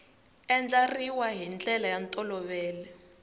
andlariwa hi ndlela ya ntolovelo